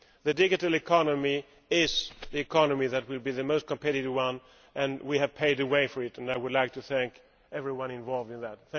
The digital economy is the economy that will be the most competitive one and we have paved the way for it, and I would like to thank everyone involved in that.